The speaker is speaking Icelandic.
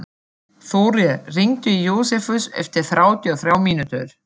Þórir, hringdu í Jósefus eftir þrjátíu og þrjár mínútur.